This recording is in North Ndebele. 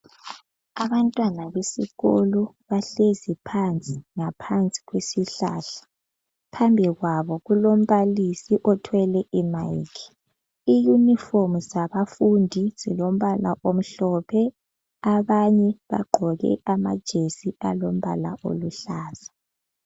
Abantwana besikolo bahlezi phansi, ngaphansi kwesihlahla. Phambili kwabo kulombalisi othwele imayikhi. Iyunifomu zabafundi zilombala omhlophe. Abanye bagqoke amajesi alombala oluhlaza.